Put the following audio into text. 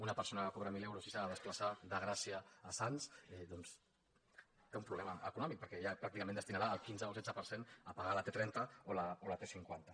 una persona que cobra mil euros si s’ha de desplaçar de gràcia a sants doncs té un problema econòmic perquè ja pràcticament destinarà el quinze o setze per cent a pagar la t trenta o la t cinquanta